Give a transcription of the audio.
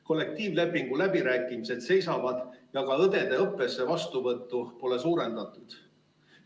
Kollektiivlepingu läbirääkimised seisavad ja ka õdede õppesse vastuvõttu pole suurendatud.